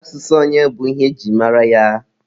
Asụsụ onye bụ ihe e ji mara ya.